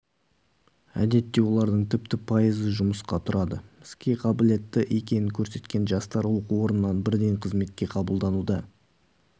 әдетте олардың тіпті пайызы жұмысқа тұрады іске қабілетті екенін көрсеткен жастар оқу орнынан бірден қызметке қабылдануда